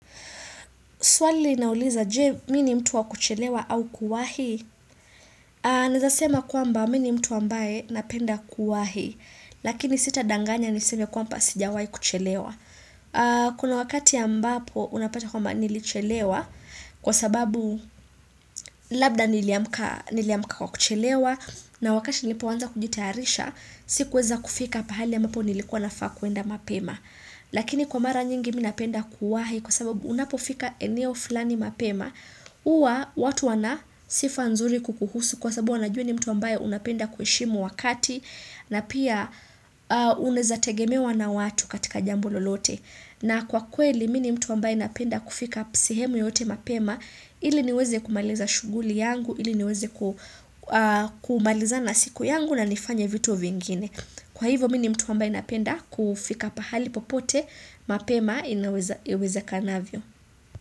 Swali linauliza je, mimi ni mtu wa kuchelewa au kuwahi? Nieza sema kwamba mimi ni mtu ambaye napenda kuwahi. Lakini sitadanganya niseme kwamba sijawahi kuchelewa. Kuna wakati ambapo unapata kwamba nilichelewa. Kwa sababu labda niliamka kwa kuchelewa. Na wakati nilipoanza kujitayarisha, sikuweza kufika pahali ambapo nilikuwa nafaa kuenda mapema. Lakini kwa mara nyingi mimi napenda kuwahi kwa sababu unapofika eneo fulani mapema. Huwa watu wana sifa nzuri kukuhusu kwa sababu wanajua wewe ni mtu ambaye unapenda kuheshimu wakati na pia unaeza tegemewa na watu katika jambo lolote. Na kwa kweli mimi ni mtu ambaye napenda kufika sehemu yote mapema ili niweze kumaliza shughuli yangu ili niweze kumalizana na siku yangu na nifanye vitu vingine. Kwa hivo mimi ni mtu ambaye napenda kufika pahali popote mapema iwezekanavyo.